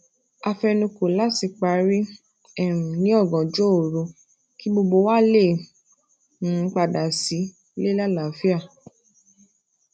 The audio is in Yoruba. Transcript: a fẹnukò lati pari um ní ọ̀gànjọ́ òru kí gbogbo wa lè um padà sílé lálaafia